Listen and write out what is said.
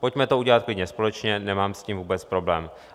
Pojďme to udělat klidně společně, nemám s tím vůbec problém.